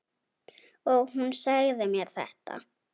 Og hún sagði mér þetta.